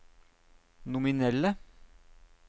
nominelle